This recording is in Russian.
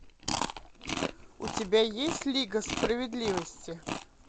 у тебя есть лига справедливости